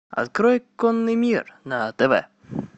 открой конный мир на тв